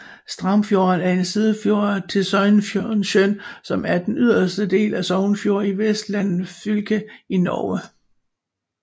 Straumsfjorden er en sidefjord til Sognesjøen som er den yderste del af Sognefjorden i Vestland fylke i Norge